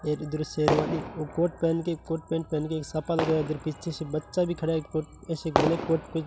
एक दृश्य कोट पहनके कोट पैंट पहन के इधर पीछे से बच्चा भी खड़ा है कुछ ऐसे --